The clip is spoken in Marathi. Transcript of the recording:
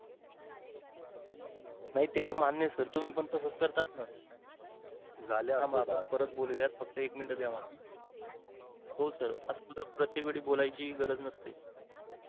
नाही ते त्तर मान्य सर तुम्ही पण तसं करतात ना. फक्त एक minute द्यावा . हो सर असतो. प्रत्येक वेळी बोलाय ची गरज नसते.